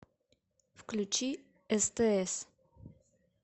включи стс